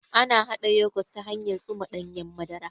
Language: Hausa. Ana haɗa Yogut ta hanyan tsuma ɗanyen madara